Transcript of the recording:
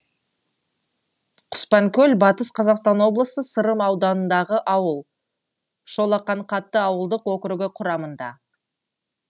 құспанкөл батыс қазақстан облысы сырым ауданындағы ауыл шолақаңқаты ауылдық округі құрамында